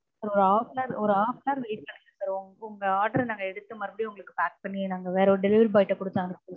ஒரு half an hour ஒரு half an hour wait பண்ணுங்க sir உங்க order அ நாங்க எடுத்து மறுபடியும் உங்களுக்கு pack பண்ணி நாங்க வேற ஒரு delivery boy ட்ட குடுத்து அனுப்புறோம்.